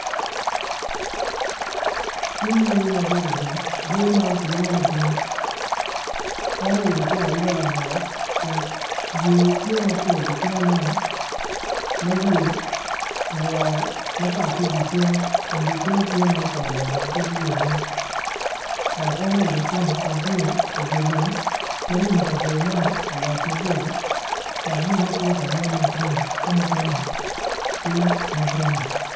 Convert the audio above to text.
Cing lee ma bedo i lum lee man kilwongo ni bim en oilo cinge aila lamal yer tye mapol icinge man ma yer olworo mapat ki dye cinge kun dye cinge tye ma otal labongo kit yer mo dok en oilo cinge kun tye idye lum ma lum i kabedo man olot maboco dok lumme tye ka nen ma grin ka mukene tye ma braun.